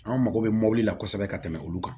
An mago bɛ mobili la kosɛbɛ ka tɛmɛ olu kan